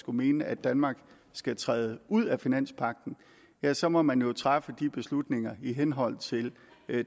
mener at danmark skal træde ud af finanspagten ja så må man jo træffe de beslutninger i henhold til